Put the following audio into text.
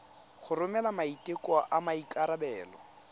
go romela maiteko a maikarebelo